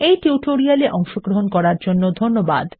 এই টিউটোরিয়াল এ অংশগ্রহন করার জন্য ধন্যবাদ